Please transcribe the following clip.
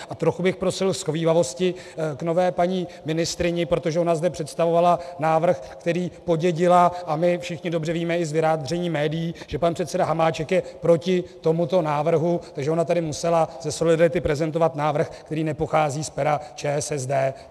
A trochu bych prosil shovívavosti k nové paní ministryni, protože ona zde představovala návrh, který podědila, a my všichni dobře víme i z vyjádření médií, že pan předseda Hamáček je proti tomuto návrhu, takže ona tady musela ze solidarity prezentovat návrh, který nepochází z pera ČSSD.